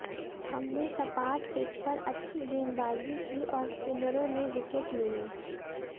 हमने सपाट पिच पर अच्छी गेंदबाजी की और स्पिनरों ने विकेट लिये